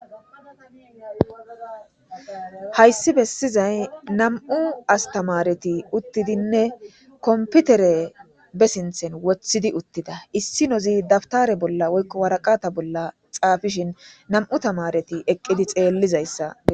Hayssi bessizay nam7u asththamaarethi uththidinne komppithere be sinththen woththidi uththida; issinozi dabththare bolla woykko woraqathe bolla tsaafishin nam7u thamaarethi eqqizi tseellizayssa.